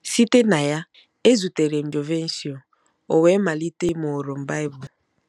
Site na ya, ezutere m Jovencio, o wee malite ịmụrụ m Bible.